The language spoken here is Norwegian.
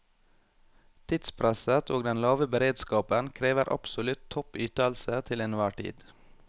Tidspresset og den lave beredskapen krever absolutt topp ytelse til enhver tid.